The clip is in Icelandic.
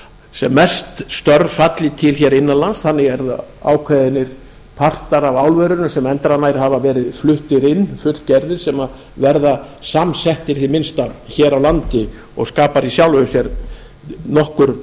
sem flest störf falli til innan lands þannig eru ákveðnir partar af álverinu sem endranær hafa verið fluttir inn fullgerðir sem verða samsettir hið minnsta hér á landi og skapar í sjálfu sér nokkur